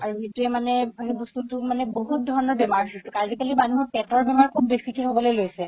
আৰু সেইটোৱে মানে সেই বস্তুতো বহুত ধৰণৰ বেমাৰ সৃষ্টি আজিকালি মানুহৰ পেটৰ বেমাৰ খুব বেচিকে হ'বলৈ লৈছে